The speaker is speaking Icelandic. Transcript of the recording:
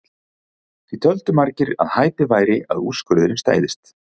Því töldu margir að hæpið væri að úrskurðurinn stæðist.